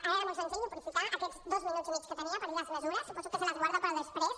ara era molt senzill aprofitar aquests dos minuts i mig que tenia per dir les mesures suposo que se les guarda per a després